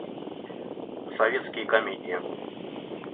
советские комедии